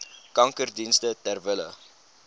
kankerdienste ter wille